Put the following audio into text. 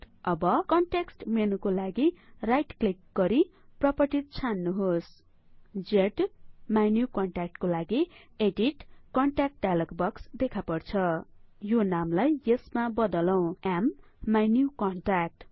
अब कन्टेक्ट्स मेनुको लागि राइट क्लिक गरी प्रपर्टीज छान्नुहोस ज्माइन्युकन्ट्याक्ट को लागि एडीट कन्ट्याक्ट डाइलग बक्स देखापर्छ यो नामलाई यसमा बदलौं माइन्युकन्ट्याक्ट